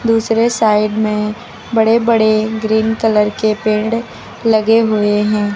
दूसरे साइड में बड़े बड़े ग्रीन कलर के पेड़ लगे हुए हैं।